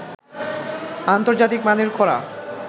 আন্তর্জাতিক মানের করা